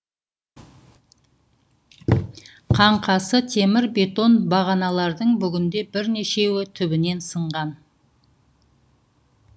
қаңқасы темір бетон бағаналардың бүгінде бірнешеуі түбінен сынған